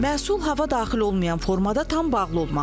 Məhsul hava daxil olmayan formada tam bağlı olmalıdır.